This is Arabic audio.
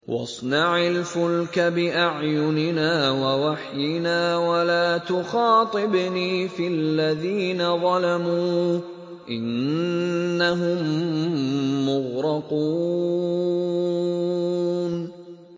وَاصْنَعِ الْفُلْكَ بِأَعْيُنِنَا وَوَحْيِنَا وَلَا تُخَاطِبْنِي فِي الَّذِينَ ظَلَمُوا ۚ إِنَّهُم مُّغْرَقُونَ